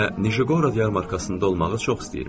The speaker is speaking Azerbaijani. Və Nijqorod yarmarkasında olmağı çox istəyirmiş.